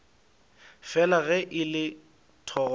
fela ge e le thogorogo